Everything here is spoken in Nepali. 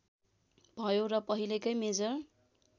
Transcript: भयो र पहिलेकै मेजर